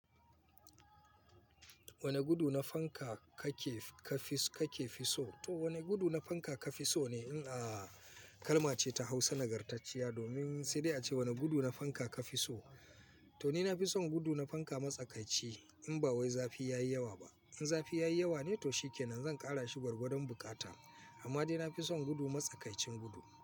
Wane gudu na fanka kake fi kake fi so? To wane gudu na fanka ka fi so ne? In a kalma ce ta Hausa nagartacciya domin sai dai ace wane gudu na fanka ka fi so. To ni na fi son gudu na fanka matsakaici in ba wai zafi ya yi yawa ba. In zafi ya yi yawa ne, to shi ke nan zan ƙara shi gwargwadon buƙata. Amma dai na fi son gudu matsakaicin gudu.